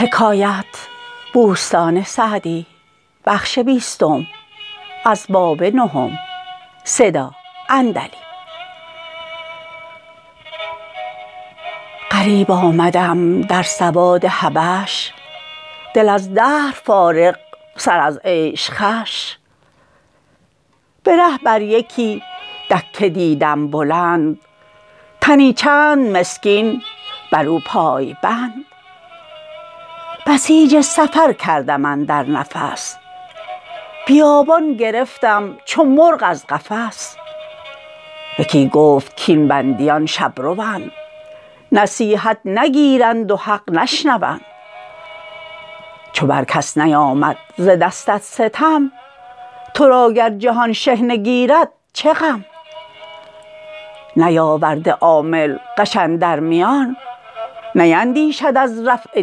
غریب آمدم در سواد حبش دل از دهر فارغ سر از عیش خوش به ره بر یکی دکه دیدم بلند تنی چند مسکین بر او پای بند بسیج سفر کردم اندر نفس بیابان گرفتم چو مرغ از قفس یکی گفت کاین بندیان شبروند نصیحت نگیرند و حق نشنوند چو بر کس نیامد ز دستت ستم تو را گر جهان شحنه گیرد چه غم نیاورده عامل غش اندر میان نیندیشد از رفع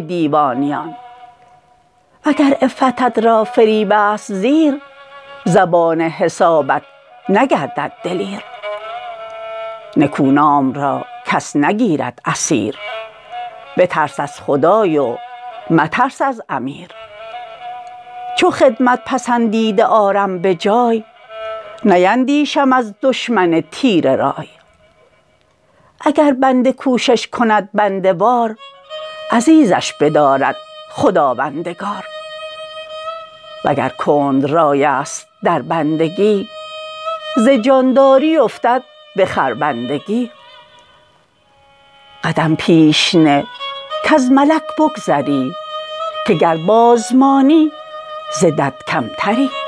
دیوانیان وگر عفتت را فریب است زیر زبان حسابت نگردد دلیر نکونام را کس نگیرد اسیر بترس از خدای و مترس از امیر چو خدمت پسندیده آرم به جای نیندیشم از دشمن تیره رای اگر بنده کوشش کند بنده وار عزیزش بدارد خداوندگار وگر کند رای است در بندگی ز جانداری افتد به خربندگی قدم پیش نه کز ملک بگذری که گر باز مانی ز دد کمتری